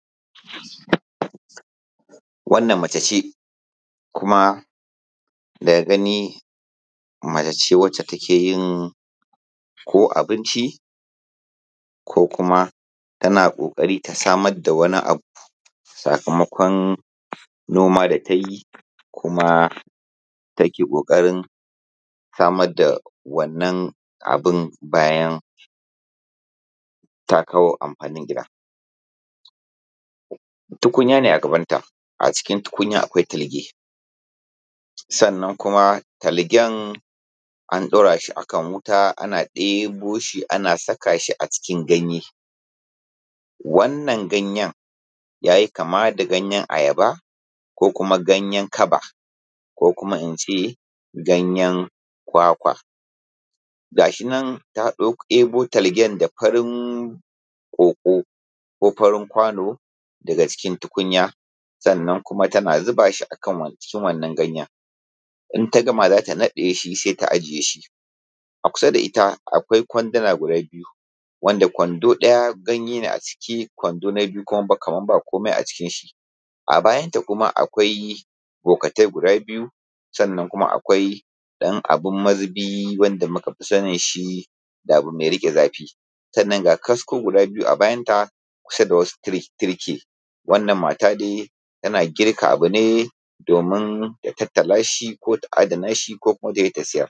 Wannan mace ce kuma wannan daga gani mace ce wanda take yin abinci ko kuma tana ƙoƙarin ta samar da wani abu, sakamakon noma da ta yi kuma take ƙoƙarin samar da wannan abun bayan ta kawo amfanin gida. Tukunya ne a gabanta kuma wannan tukunyar akwai talge sannan kuma talgen an ɗaura shi a kan wita ana ɗebo shi ana saka shi a cikin ganye. Wannan ganye ya yi kama da ganyen ayaba ya yi kama da ganyen kaba kuma in ce ganye kwakwa. Ga shi nan ta ɗebo talge da farin ƙwoƙwo ko farin kwano daga tukunya kuna tana zuba shi a kan wannan ganye idan ta gama za ta naɗe sai ta ajiye kuma da ita akwai kwanduna biyu wanda kwando ɗaya ganye ne a ciki, kwando na biyu kamar babu komai a cikin shi, sai bokatai guda biyu sai ɗan abun mazubi wanda muka fi sani da abu mai rike zafi. Sannan ga kasko a bayanta da itlcce. Wannan mata dai tana girka wani abu ne domin ta tattala shi ko ta adana shi ko ta sayar.